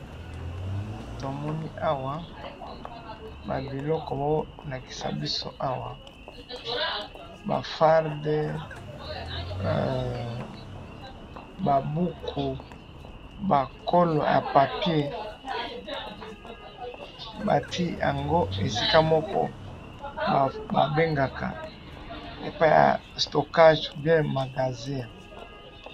tomoni awa ba biloko oyo bazo laisa biso awa ba farde ba muku ba col ya papier batiye yango esika ba bengaka stockage ou bien magasin.